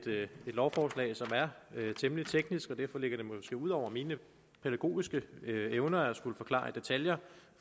lovforslag som er temmelig teknisk og derfor ligger det måske ud over mine pædagogiske evner at skulle forklare i detaljer